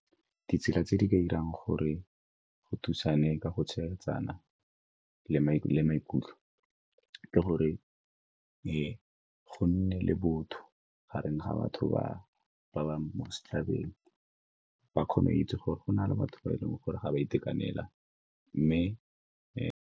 Ditsela tse di ka 'irang gore go thusane ka go tshegetsana le maikutlo ke gore go nne le botho gareng ga batho ba ba mo setšhabeng, ba kgone go itse gore go na le batho ba e leng gore ga ba itekanela mme .